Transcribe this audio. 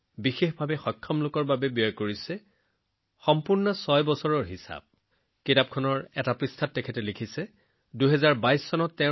এই balance sheet অনন্য কাৰণ তেওঁ নিজৰ সমগ্ৰ উপাৰ্জন প্ৰতিটো টকা সমাজ বিদ্যালয় চিকিৎসালয় পুথিভঁৰাল বিশেষকৈ সক্ষম লোকৰ সৈতে জড়িত সংগঠন সমাজ সেৱাৰ কামত খৰচ কৰিছেএই গোটেই ৬ বছৰৰ হিচাপটো